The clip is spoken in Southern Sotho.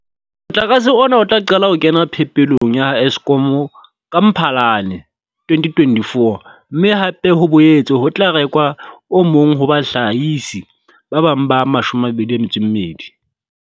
Motlakase ona o tla qala ho kena phepelong ya ha Eskom ka Mphalane 2024, mme hape ho boetse ho tla rekwa o mong ho bahlahisi ba bang ba 22.